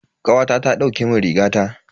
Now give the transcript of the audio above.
Kawata ta dauke mun rigata.